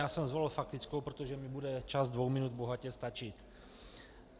Já jsem zvolil faktickou, protože mi bude čas dvou minut bohatě stačit.